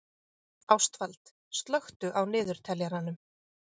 Ástvald, slökktu á niðurteljaranum.